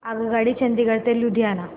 आगगाडी चंदिगड ते लुधियाना